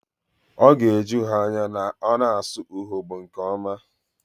Ọ ga-eju ha anya na ọ na-asụ Urhobo nke ọma